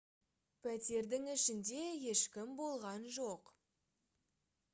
пәтердің ішінде ешкім болған жоқ